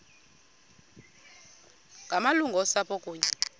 ngamalungu osapho kunye